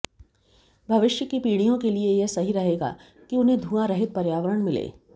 भविष्य की पीढ़ियों के लिये यह सही रहेगा कि उन्हें धुआंरहित पर्यावरण मिले